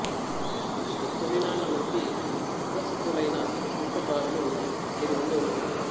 సృష్టి తొలినాళ్ళ నుంచి సుప్రసిద్దులైన శిల్పకారులు ఐదు మంది ఉన్నారు